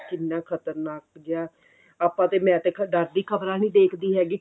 ਕਿੰਨਾ ਖ਼ਤਰਨਾਕ ਜਿਆ ਆਪਾਂ ਤੇ ਮੈਂ ਤੇ ਡਰ ਦੀ ਖਬਰਾਂ ਨਹੀਂ ਦੇਖਦੀ ਹੈਗੀ